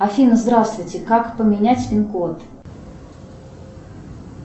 афина здравствуйте как поменять пин код